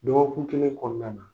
Dɔgɔkun kelen kɔɔna na